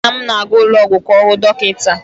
Nna m na-aga ụlọọgwụ ka ọ hụ dọkịta.